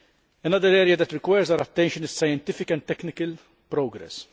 Another area that requires our attention is scientific and technical progress.